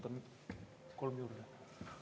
Ma võtan kolm minutit juurde.